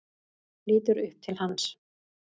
Lítur upp til hans.